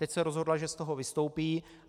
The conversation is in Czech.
Teď se rozhodla, že z toho vystoupí.